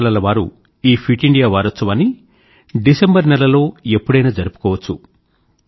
పాఠశాలల వారు ఈ ఫిట్ ఇండియా వారోత్సవాన్ని డిసెంబర్ నెలలో ఎప్పుడైనా జరుపుకోవచ్చు